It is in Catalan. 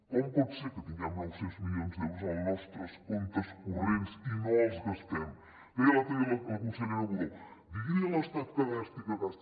com pot ser que tinguem nou cents milions d’euros en els nostres comptes corrents i no els gastem deia l’altre dia la consellera budó digui li a l’estat que gasti que gasti